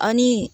An ni